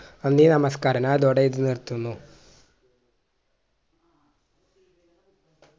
നന്ദി നമസ്‌കാരം ഞാൻ ഇതോടെ ഇത് നിർത്തുന്നു